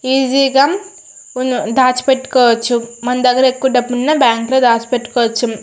Easy గా దాచి పెట్టుకోవచ్చు మన దగ్గర ఎక్కువ డబ్బులు ఉన్న బ్యాంకు లో దాచి పెట్టుకోవచ్చు.